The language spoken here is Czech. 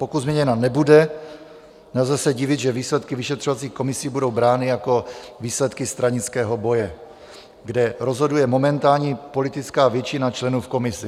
Pokud změněna nebude, nelze se divit, že výsledky vyšetřovacích komisí budou brány jako výsledky stranického boje, kde rozhoduje momentální politická většina členů v komisi.